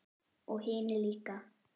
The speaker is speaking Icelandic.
Og hinir líka.